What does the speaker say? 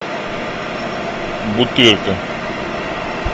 бутырка